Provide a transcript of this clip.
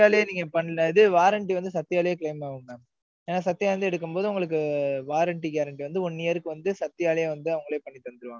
இது warranty வந்து, சத்யாலயே claim ஆகும் mam ஏன்னா, சத்யா வந்து எடுக்கும்போது, உங்களுக்கு warranty guarantee வந்து, one year க்கு வந்து, சத்யாலே வந்து, அவங்களே பண்ணித் தந்திருவாங்க.